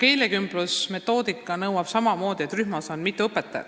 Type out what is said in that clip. Keelekümbluse metoodika nõuab samamoodi, et rühmas on mitu õpetajat.